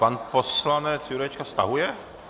Pan poslanec Jurečka stahuje?